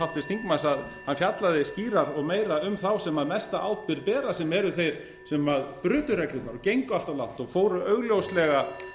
háttvirts þingmanns að hann fjallaði skýrar og meira um þá sem mesta ábyrgð bera sem eru þeir sem brutu reglurnar og gengu allt of langt og fóru augljóslega